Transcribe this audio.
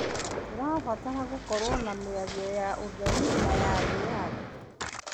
Tũrabatara gũkorwo na mĩario ya ũtheri na ya wĩyathi.